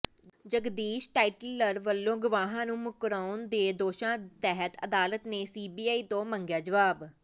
ਜਗਦੀਸ਼ ਟਾਇਟਲਰ ਵੱਲੋਂ ਗਵਾਹਾਂ ਨੂੰ ਮੁਕਰਾਉਣ ਦੇ ਦੋਸ਼ਾਂ ਤਹਿਤ ਅਦਾਲਤ ਨੇ ਸੀਬੀਆਈ ਤੋਂ ਮੰਗਿਆ ਜਬਾਬ